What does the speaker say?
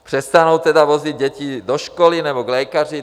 Přestanou tedy vozit děti do školy nebo k lékaři?